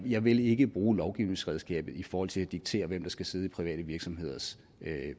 jeg vil ikke bruge lovgivningsredskabet i forhold til at diktere hvem der skal sidde i private virksomheders